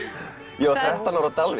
ég var þrettán ára á Dalvík